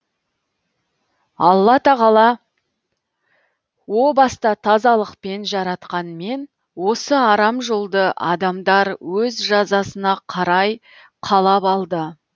алла тағала о баста тазалықпен жаратқанмен осы арам жолды адамдар өз жазасына қарай қалап алды